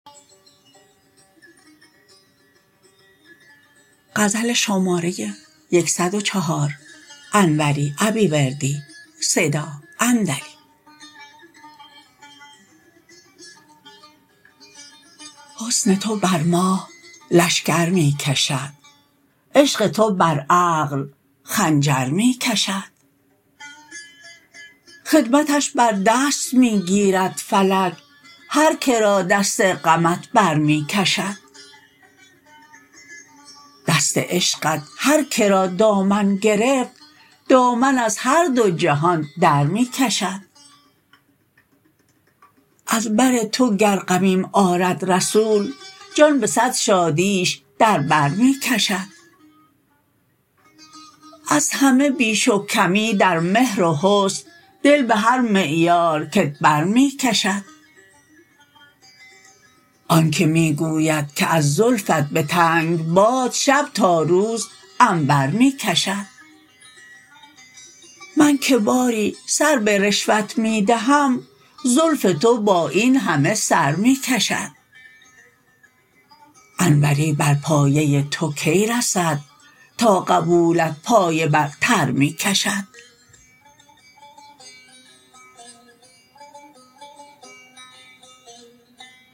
حسن تو بر ماه لشکر می کشد عشق تو بر عقل خنجر می کشد خدمتش بر دست می گیرد فلک هر کرا دست غمت برمی کشد دست عشقت هرکرا دامن گرفت دامن از هر دو جهان درمی کشد از بر تو گر غمیم آرد رسول جان به صد شادیش در بر می کشد از همه بیش و کمی در مهر و حسن دل به هر معیار کت برمی کشد آنکه می گوید که از زلفت به تنگ باد شب تا روز عنبر می کشد من که باری سر به رشوت می دهم زلف تو با این همه سر می کشد انوری بر پایه تو کی رسد تا قبولت پایه بر تر می کشد